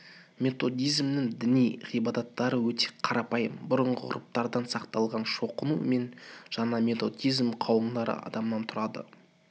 методизмнің діни ғибадаттары өте қарапайым бұрынғы ғұрыптардан сақталған шоқыну мен ғана методизм қауымдары адамнан тұратын